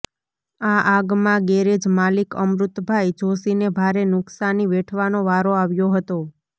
આ આગમાં ગેરેજ માલિક અમૃતભાઇ જોષીને ભારે નુક્શાની વેઠવાનો વારો આવ્યો હતો